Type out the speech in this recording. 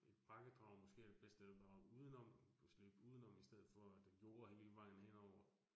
Et bakkedrag måske er det bedst, at drage udenom, kunne slikke udenom i stedet for at jorde hele vejen henover